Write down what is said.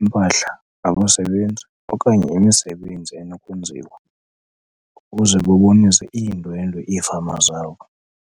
impahla, abasebenzi okanye imisebenzi enokwenziwa, ukuze babonise iindwendwe iifama zabo.